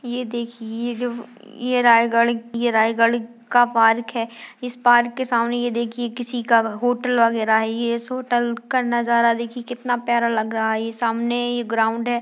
यह देखिए ये जो ये रायगढ़ ये रायगढ़ का पार्क है इस पार्क के सामने ये देखिए किसी का होटल वगैरा है यह इस होटल का नजारा देखिए कितना प्यारा लग रहा है ये सामने ये ग्राउंड है।